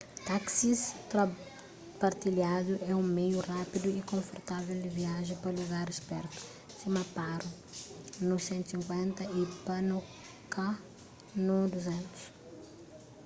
táksis partilhadu é un meiu rápidu y konfortável di viaja pa lugaris pertu sima paro nu 150 y punakha nu 200